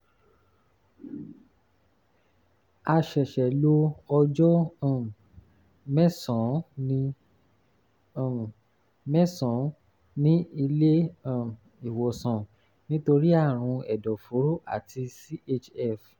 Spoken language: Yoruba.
a ṣẹ̀ṣẹ̀ lo ọjọ́ um mẹ́sàn-án ní um mẹ́sàn-án ní ilé um ìwòsàn nítorí àrùn ẹ̀dọ̀fóró àti chf